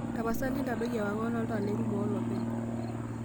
tapasali ntadoi ewang'an ooltaa lerumu olopeny